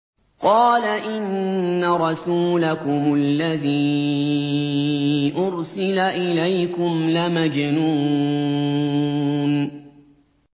قَالَ إِنَّ رَسُولَكُمُ الَّذِي أُرْسِلَ إِلَيْكُمْ لَمَجْنُونٌ